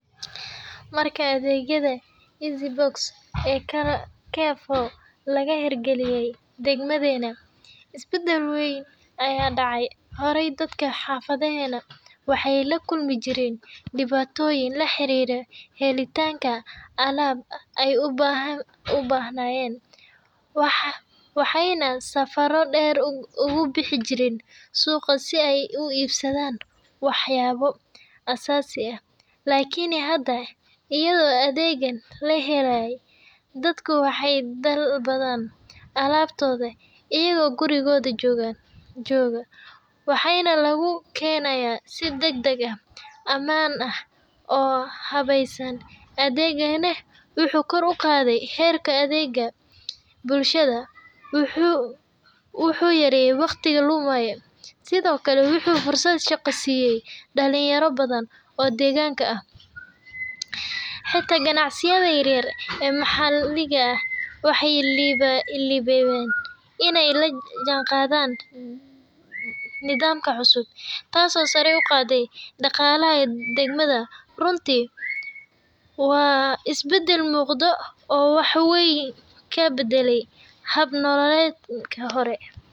Marka adeegyada laga heer galiye degmada is badal weyn ayaa dece, waxaayna safaro deero ugu bixi jireen suqa, lakin hada ayado lahele adeegan, dadka waxaa loogu keena gurigooda, wuxuu kor uqaade adeega, wuxuu shaqa siiye dalinyarada, taas oo sare uqaade daqalaha degmada, runti waa is badal weyn.